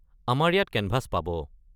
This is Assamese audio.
আমাৰ ইয়াত কেনভাছ পাব।